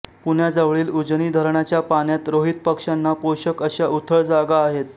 पुण्याजवळील उजनी धरणाच्या पाण्यात रोहित पक्ष्यांना पोषक अश्या उथळ जागा आहेत